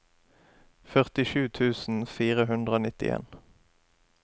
førtisju tusen fire hundre og nittien